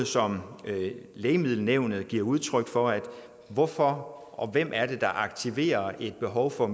som lægemiddelnævnet giver udtryk for hvorfor og hvem aktiverer behovet for